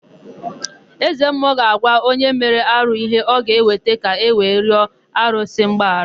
Ezemmụọ ga-agwa onye mere arụ ihe ọ ga-eweta ka ewe rịọ arụsị mgbaghara.